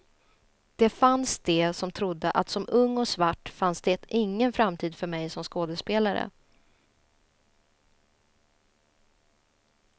Det fanns de som trodde att som ung och svart fanns det ingen framtid för mig som skådespelare.